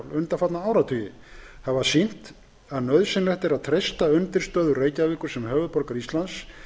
undanfarna áratugi hafa sýnt að nauðsynlegt er að treysta undirstöður reykjavíkur sem höfuðborgar íslands